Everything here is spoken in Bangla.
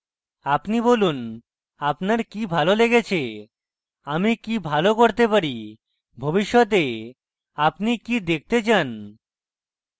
আপনি বলুন আপনার কি ভালো লেগেছে আমি কি ভালো করতে পারি ভবিষ্যতে আপনি কি দেখতে চান